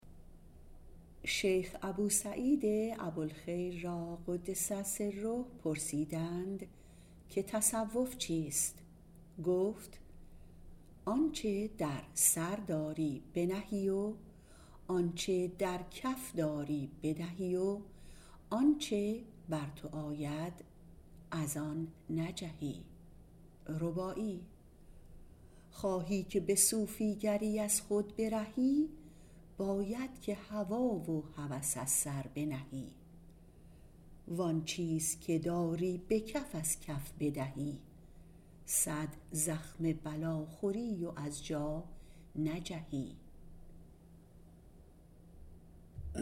شیخ ابو سعید ابوالخیر را - قدس سره - پرسیدند که تصوف چیست گفت آنچه در سر داری بنهی و آنچه در کف داری بدهی و از آنچه بر تو آید نجهی خواهی که به صوفیگری از خود برهی باید که هوا و هوس از سر بنهی وان چیز که داری به کف از کف بدهی صد زخم بلا خوری و از جا نجهی